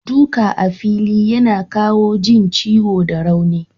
Duka a fili yana kawo jin ciwo da rauni.